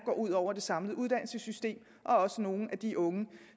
ud over det samlede uddannelsessystem og også nogle af de unge